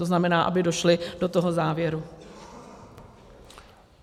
To znamená, aby došli do toho závěru.